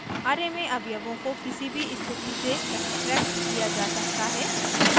* array में अवयवों को किसी भी स्थिति से extracted किया जा सकता है